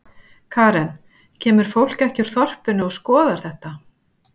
Karen: Kemur fólk ekki úr þorpinu og skoðar þetta?